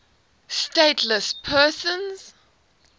stateless persons